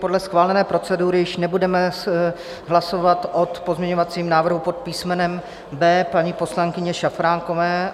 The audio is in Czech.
Podle schválené procedury již nebudeme hlasovat o pozměňovacím návrhu pod písmenem B paní poslankyně Šafránkové.